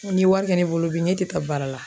N ko n'i ye wari kɛ ne bolo bi ne tɛ taa baara la